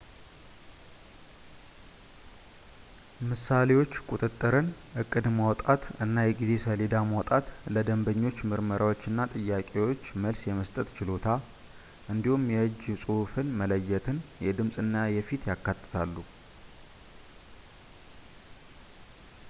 ምሳሌዎች ቁጥጥርን ፣ እቅድ ማውጣት እና የጊዜ ሰሌዳ ማውጣት ፣ ለደንበኞች ምርመራዎች እና ጥያቄዎች መልስ የመስጠት ችሎታ ፣ እንዲሁም የእጅ ጽሑፍ መለየትን ፣ የድምጽ እና የፊት ያካትታሉ